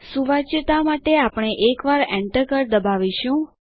સુવાચ્યતા માટે આપણે એક વાર એન્ટર કળ દબાવીશું